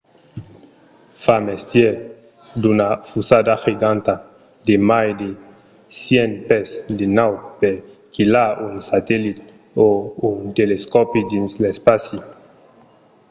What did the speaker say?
fa mestièr d'una fusada giganta de mai de 100 pès de naut per quilhar un satellit o un telescòpi dins l’espaci